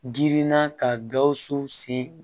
Girinna ka gawusu sen